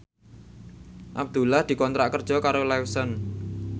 Abdullah dikontrak kerja karo Lawson